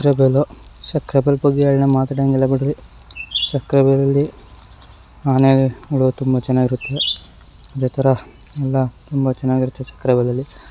ಸಕ್ಕರೆ ಬಯಲು ಸಕ್ಕರೆ ಬೈಲ್ ಬಗ್ಗೆ ಎರಡು ಮಾತಾಡಂಗಿಲ್ಲ ಬಿಡ್ರಿ ಸಕ್ಕರೆಬೈಲಿನಲ್ಲಿ ಆನೆಗಳು ತುಂಬಾ ಚೆನ್ನಾಗಿರುತ್ತೆ ಇದೇ ತರ ಎಲ್ಲ ತುಂಬಾ ಚೆನ್ನಾಗಿರತ್ತೆ ಸಕ್ಕರೆ ಬೈಲಿನಲ್ಲಿ--